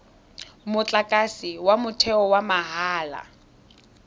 motlakase wa motheo wa mahala